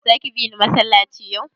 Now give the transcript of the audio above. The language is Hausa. Zaki bini masallaci yau?